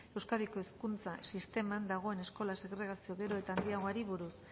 euskadiko hezkuntza sisteman dagoen eskola segregazio gero eta handiagoari buruz